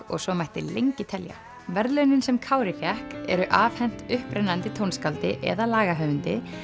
og svo mætti lengi telja verðlaunin sem Kári fékk eru afhent upprennandi tónskáldi eða lagahöfundi